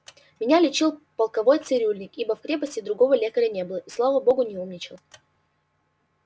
меня лечил полковой цирюльник ибо в крепости другого лекаря не было и слава богу не умничал